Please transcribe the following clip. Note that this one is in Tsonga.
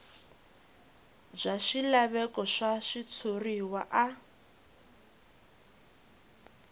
bya swilaveko swa switshuriwa a